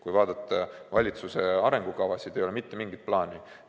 Kui vaadata valitsuse arengukavasid, ei ole mitte mingit plaani.